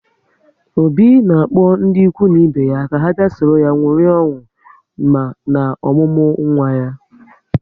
Obi na-akpọ ndị ikwu na ibe ya ka ha bịa sọrọ ya ṅụrịa ọṅụ na ọmụmụ nwa ya